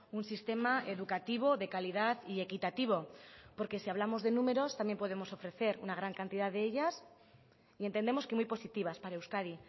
un sistema educativo de calidad y equitativo porque si hablamos de números también podemos ofrecer una gran cantidad de ellas y entendemos que muy positivas para euskadi